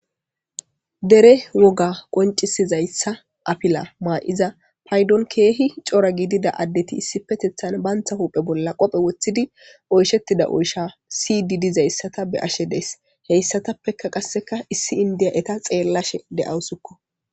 Dere woga qoncisizayssa apila maa'iza paydon keehi cora gidida addeti issi petethan bantha huuphe bolla qophe woththidi oyshettida oysha si didizayssata be ashe dees heyssatappeka qasseka issi indiya eta xeellashe de'awusikko.